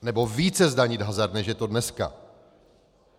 Nebo více zdanit hazard, než je to dneska.